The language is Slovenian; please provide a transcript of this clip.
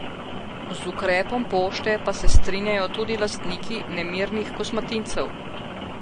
Z ukrepom pošte pa se strinjajo tudi lastniki nemirnih kosmatincev.